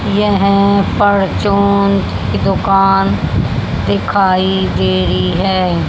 यह परचून की दुकान दिखाई दे रही है।